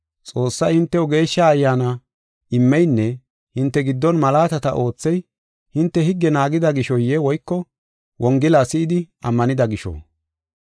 Xoossay hintew Geeshsha Ayyaana immeynne hinte giddon malaatata oothey, hinte higge naagida gishoye woyko Wongela si7idi ammanida gisho?